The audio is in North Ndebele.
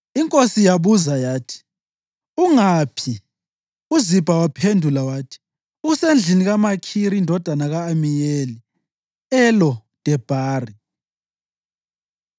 Inkosi yabuza yathi, “Ungaphi?” UZibha waphendula wathi, “Usendlini kaMakhiri indodana ka-Amiyeli eLo-Debhari.”